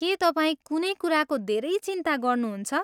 के तपाईँ कुनै कुराको धेरै चिन्ता गर्नुहुन्छ?